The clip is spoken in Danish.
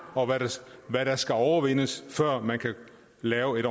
og hvad der skal overvindes før man kan lave et